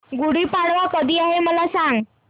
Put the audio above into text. गुढी पाडवा कधी आहे मला सांग